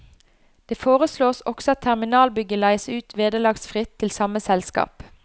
Det foreslås også at terminalbygget leies ut vederlagsfritt til samme selskap.